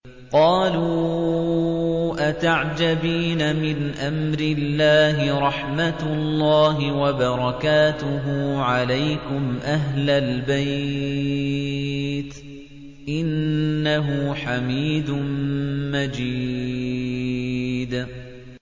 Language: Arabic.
قَالُوا أَتَعْجَبِينَ مِنْ أَمْرِ اللَّهِ ۖ رَحْمَتُ اللَّهِ وَبَرَكَاتُهُ عَلَيْكُمْ أَهْلَ الْبَيْتِ ۚ إِنَّهُ حَمِيدٌ مَّجِيدٌ